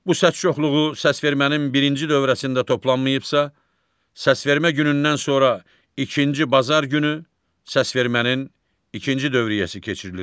Bu səs çoxluğu səsvermənin birinci dövrəsində toplanmayıbsa, səsvermə günündən sonra ikinci bazar günü səsvermənin ikinci dövriyyəsi keçirilir.